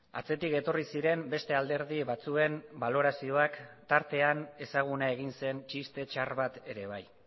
atzetik etorri ziren beste alderdi batzuen balorazioak tartean ezaguna egin zen txiste txar bat ere bai